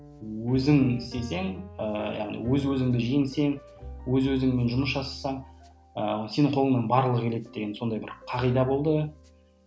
өзің істесең ііі яғни өз өзіңді жеңсең өз өзіңмен жұмыс жасасаң ы сенің қолыңнан барлығы келеді деген сондай бір қағида болды